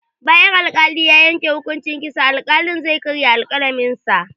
Bayan al-kali ya yanke hukunci kitsa, al-kalin zai karya alƙalamin sa